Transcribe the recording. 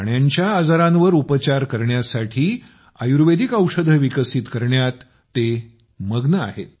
प्राण्यांच्या आजारांवर उपचार करण्यासाठी आयुर्वेदिक औषधे विकसित करण्यात ते मग्न आहेत